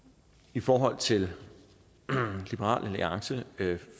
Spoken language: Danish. i forhold til liberal alliance